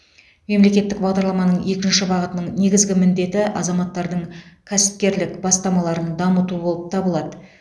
мемлекеттік бағдарламаның екінші бағытының негізгі міндеті азаматтардың кәсіпкерлік бастамаларын дамыту болып табылады